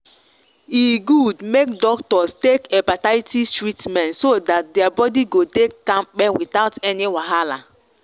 e good make doctors take hepatitis treatment so that their body go dey kampe without any wahala.